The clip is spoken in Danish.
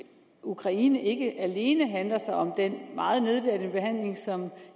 ukraine ikke alene handler om den meget nedværdigende behandling som